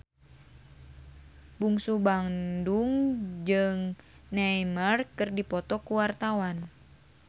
Bungsu Bandung jeung Neymar keur dipoto ku wartawan